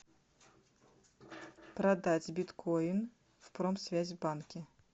продать биткоин в промсвязьбанке